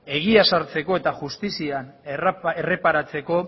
egia ezartzeko eta justizian erreparatzeko